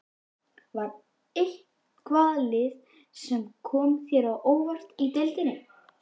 Var eitthvað lið sem kom þér á óvart í deildinni?